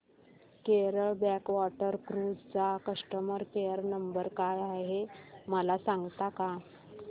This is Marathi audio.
केरळ बॅकवॉटर क्रुझ चा कस्टमर केयर नंबर काय आहे मला सांगता का